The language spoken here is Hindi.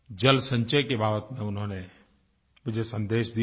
जल संचय की बात पर उन्होंने मुझे संदेश दिया है